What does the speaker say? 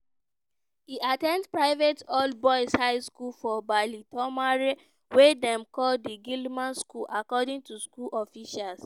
e at ten d private all-boys high school for baltimore wey dem call di gilman school according to school officials.